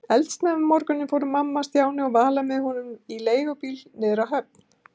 Eldsnemma um morguninn fóru mamma, Stjáni og Vala með honum í leigubíl niður á höfn.